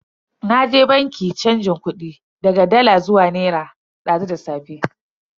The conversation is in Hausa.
Naje banki chanjin kudi daga dala zuwa naira dazu da safe.